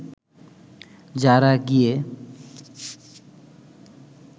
যারা গিয়ে